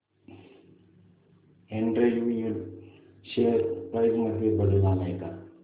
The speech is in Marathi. एंड्रयू यूल शेअर प्राइस मध्ये बदल आलाय का